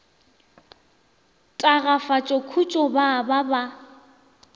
tagafatša khutšo ba ba ba